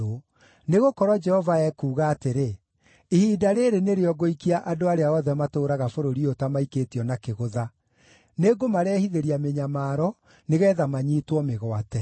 Nĩgũkorwo Jehova ekuuga atĩrĩ: “Ihinda rĩĩrĩ nĩrĩo ngũikia andũ arĩa othe matũũraga bũrũri ũyũ ta maikĩtio na kĩgũtha; Nĩngũmarehithĩria mĩnyamaro, nĩgeetha manyiitwo mĩgwate.”